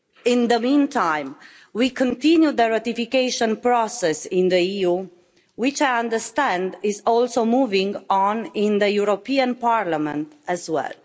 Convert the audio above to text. In the meantime, we continue the ratification process in the EU, which, I understand, is also moving on in the European Parliament as well.